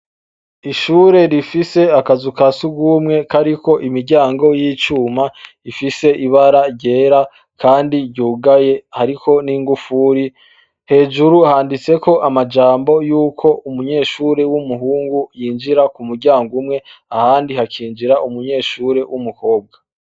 Ishure rifise akazu ka surwumwe kariko imiryango y'icuma rifise ibara ryera kandi ryugaye hariko n'ingufuri. Hejuru handitseko amajambo yuko umunyeshure w'umuhungu yinjira ku muryango umwe, ahandi hakinjira umunyeshure w'umukobwa.